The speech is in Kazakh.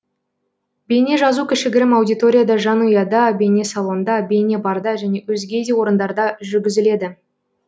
бейнежазу кішігірім аудиторияда жанұяда бейнесалонда бейнебарда және өзге де орындарда жүргізіледі